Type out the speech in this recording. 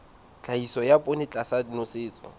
tlhahiso ya poone tlasa nosetso